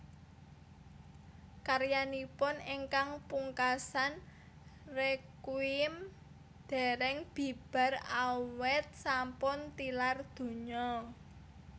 Karyanipun ingkang pungkasan Requiem dèrèng bibar awit sampun tilar donya